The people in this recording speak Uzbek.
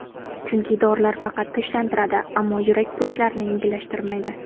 Chunki dorilar faqat tinchlantiradi, ammo yurak xurujlarini yengillashtirmaydi.